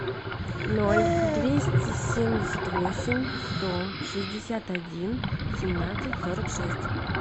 ноль двести семьдесят восемь сто шестьдесят один семнадцать сорок шесть